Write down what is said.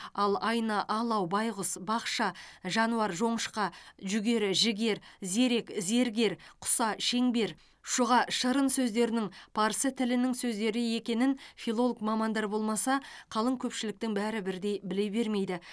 ал айна алау байғұс бақша жануар жоңышқа жүгері жігер зерек зергер құса шеңбер шұға шырын сөздерінің парсы тілінің сөздері екенін филолог мамандар болмаса қалың көпшіліктің бәрі бірдей біле бермейді